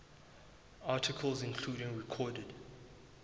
articles including recorded